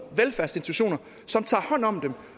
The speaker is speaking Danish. velfærdsinstitutioner som tager hånd om dem